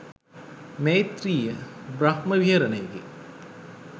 මෛත්‍රීය, බ්‍රහ්ම විහරණයකි.